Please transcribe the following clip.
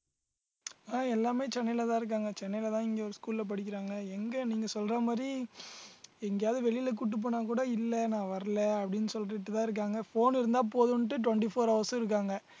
அஹ் எல்லாமே சென்னையிலதான் இருக்காங்க சென்னையிலதான் இங்க ஒரு school ல படிக்கறாங்க. எங்க நீங்க சொல்ற மாதிரி எங்கயாவது வெளியில கூட்டிட்டு போனாக்கூட இல்லை நான் வரலை அப்படின்னு சொல்லிட்டுதான் இருக்காங்க phone இருந்தா போதுன்னுட்டு twenty-four hours உம் இருக்காங்க